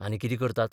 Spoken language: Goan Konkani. आनी कितें करतात?